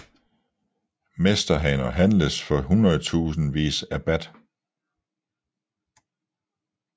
Mesterhaner handles for hundredtusindvis af baht